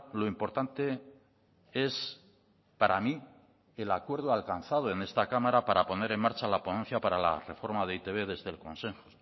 lo importante es para mí el acuerdo alcanzado en esta cámara para poner en marcha la ponencia para la reforma de e i te be desde el consenso